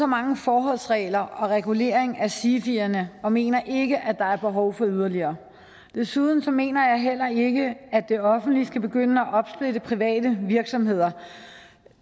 mange forholdsregler og regulering at sifierne og vi mener ikke at der er behov for yderligere desuden mener jeg heller ikke at det offentlige skal begynde at opsplitte private virksomheder